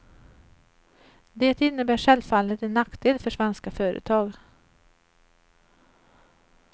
Det innebär självfallet en nackdel för svenska företag.